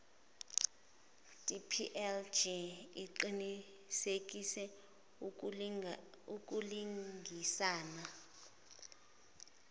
dplg iqinisekise ukulungisana